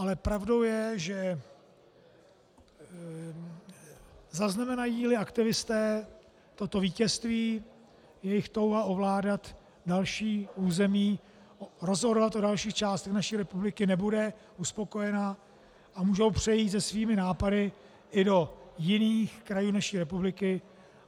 Ale pravdou je, že zaznamenají-li aktivisté toto vítězství, jejich touha ovládat další území, rozhodovat o dalších částech naší republiky nebude uspokojena a můžou přejít se svými nápady i do jiných krajů naší republiky.